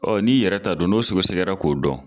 Ɔ n'i yɛrɛ ta don n'o sogosɛgɛra k'o dɔn